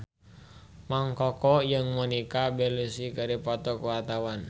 Mang Koko jeung Monica Belluci keur dipoto ku wartawan